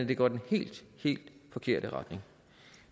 det går i den helt helt forkerte retning